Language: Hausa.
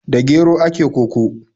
Da gero ake koko.